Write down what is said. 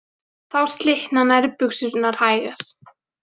Þá slitna nærbuxurnar hægar.